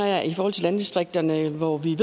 jeg i forhold til landdistrikterne hvor vi